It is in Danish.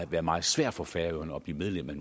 være meget svært for færøerne at blive medlem af